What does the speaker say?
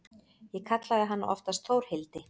Ég kallaði hana oftast Þórhildi.